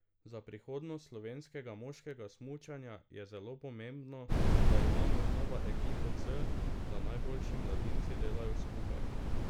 Za prihodnost slovenskega moškega smučanja je zelo pomembno, da imamo znova ekipo C, da najboljši mladinci delajo skupaj.